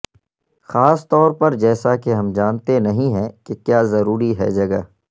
خاص طور پر جیسا کہ ہم جانتے نہیں ہیں کہ کیا ضروری ہے جگہ